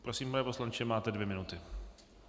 Prosím, pane poslanče, máte dvě minuty.